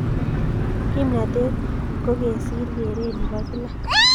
kimnatet kokesir keret Nepo kila